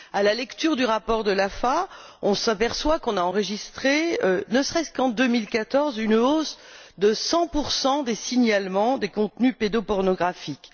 À la lecture du rapport de l'AFA, on s'aperçoit qu'on a enregistré, ne serait ce qu'en 2014, une hausse de 100 des signalements des contenus pédopornographiques.